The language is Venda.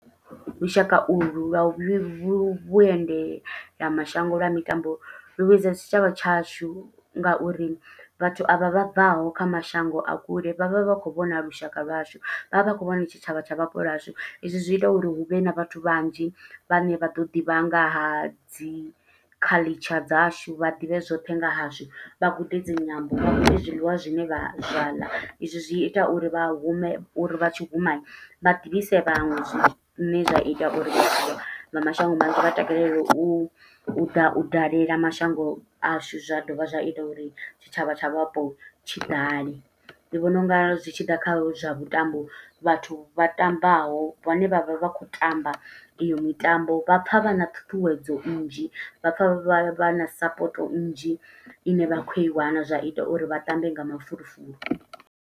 Vhushaka u lwu, lwa u vhu vhu vhuendela mashango lwa mitambo lu vhuedza tshitshavha tshashu, nga uri vhathu a vha vha bvaho kha mashango a kule, vha vha vha khou vhona lushaka lwashu. Vha vha vha khou vhona tshitshavha tsha vhapo lwashu, i zwi zwi ita uri hu vhe na vhathu vhanzhi, vhane vha ḓo ḓivha nga ha dzi culuture dzashu. Vha ḓivhe zwoṱhe nga hashu, vha gude dzi nyambo, vha gude zwiḽiwa zwine vha zwa ḽa. I zwi zwi ita uri vha hume, uri vha tshi huma vha ḓivhise vhaṅwe. Zwine zwa ita uri vha mashango manzhi vha takalele u ḓa u dalela mashango ashu. Zwa dovha zwa ita uri tshitshavha tsha vhapo tshi ḓale. Ndi vhona unga zwi tshi ḓa kha zwa vhuṱambo, vhathu vha ṱambaho, vhane vha vha vha khou tamba iyo mitambo, vha pfa vha na ṱhuṱhuwedzo nnzhi. Vha pfa vha vha na sapoto nnzhi, ine vha khou i wana. Zwa ita uri vha tambe nga mafulufulu.